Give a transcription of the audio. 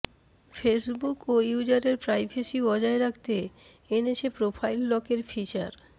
ফেসবুকও ইউজারের প্রাইভেসি বজায় রাখতে এনেছে প্রোফাইল লকের ফিচার